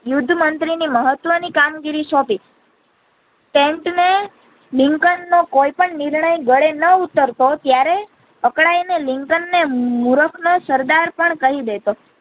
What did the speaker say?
યુદ્ધ મંત્રી ને મહત્વ ની કામ ગિરી સોંપી નો લિંકન ને કોઈ પણ નિર્ણય ગળે ન ઉતારતો ત્યારે અકળાય ને લિંકન ને મૂર્ખ નો સરદાર પણ કહી દેતો.